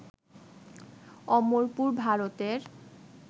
অমরপুর, ভারতের